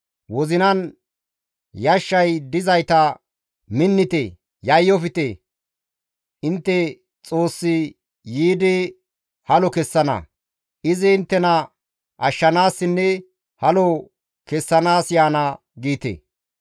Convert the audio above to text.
Wozinan yashshay dizayta «Minnite! Yayyofte! Intte Xoossi yiidi halo kessana; izi inttena ashshanaasinne halo kessanaas yaana» giite.